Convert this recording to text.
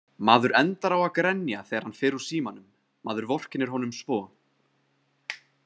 Maður endar á að grenja þegar hann fer úr símanum, maður vorkennir honum svo.